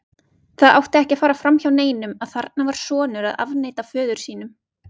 Það átti ekki að fara framhjá neinum að þarna var sonur að afneita föður sínum.